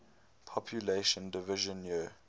population division year